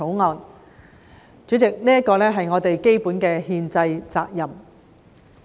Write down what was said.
代理主席，這是我們基本的憲制責任。